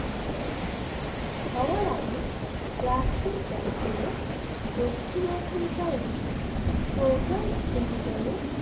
হওয়ার আগে প্লাস্টিক ব্যাগগুলো দক্ষিণ আফ্রিকার একটি প্রধান উদ্যোগে